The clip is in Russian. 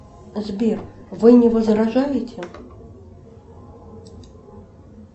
сбер вы не возражаете